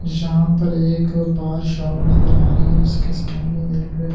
यहां पर एक बार शॉप नजर आ रही है उसके सामने एक--